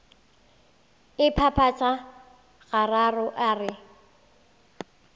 a phaphatha gararo a re